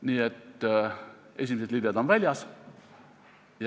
Nii et esimesed libled on väljas.